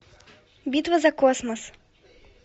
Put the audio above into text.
битва за космос